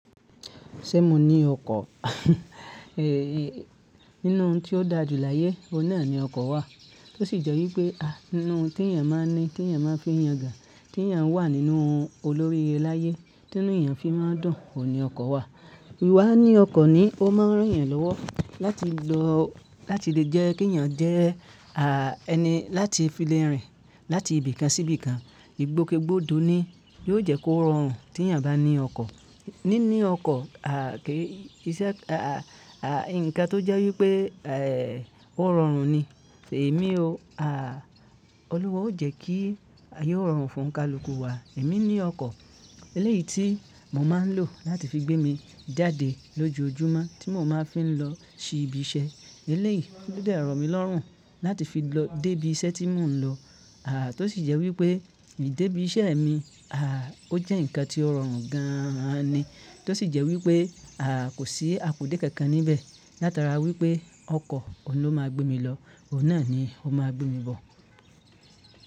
Ṣé mo ní ọkọ̀? Ee, nínú ohun tí ó da jù láyé, òun náà ni ọkọ̀ wà. Tó sì jẹ́ wípé, ah, inú tí èèyàn máa ń ní, tí èèyàn máa ń fi èèyàn yangan, tí èèyàn wà nínú olóríre láyé, tí inú èèyàn fi máa ń dùn, òun ni ọkọ̀ wà. Íwá ní ọkọ̀ ni, ó máa ń rin yàn lọ́wọ́ láti lọ-- láti lè jẹ́ kí èèyàn jẹ́, à, ẹni láti fi le rìn láti ibìkan sí ibìkan. Igbóke gbódo ni, yóò jẹ́ kó rọrùn tí èèyàn bá ní ọkọ̀. Níní ọkọ̀, à, kí iṣẹ́, à, à, nǹkan tó jẹ́ wípé, eh, ó rọrùn ni. Ẹ̀mí o, à, Ọluwa ó jẹ́ kí ayé ó rọrùn fún kàlùkù wa. Èmi ní ọkọ̀ eléyìí tí mò máa ń lò láti fi gbé mi jáde lójoojúmọ́ tí mò máa ń fi lọ ṣí ibi iṣẹ́. Eléyìí ló dẹ rọ̀ mí lọ́rùn láti fi lọ dé ibi iṣẹ́ tí mò ń lọ. À, tó sì jẹ́ wípé idé ibi iṣẹ́ mi, à, ó jẹ́ ǹkan tí ó rọrùn gan ni. Tó sì jẹ́ wípé, à, kò sí àpò dé kankan níbẹ̀ látara wípé ọkọ̀ òun ló máa gbé mi lọ, òun náà ni ó máa gbé mi bọ̀.